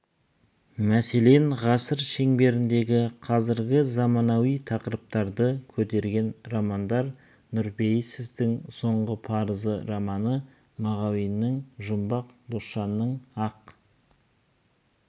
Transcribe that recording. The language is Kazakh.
мәселен ғасыр шеңберіндегі қазіргі заманауи тақырыптарды көтерген романдар нұрпейісовтың соңғы парыз романы мағауиннің жармақ досжанның ақ